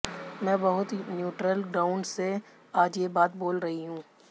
मैं बहुत neutral ground से आज ये बात बोल रही हूं